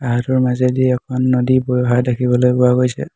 ঘাঁহটোৰ মাজেদি এখন নদী বৈ অহা দেখিবলৈ পোৱা গৈছে।